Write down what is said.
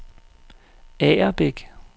Agerbæk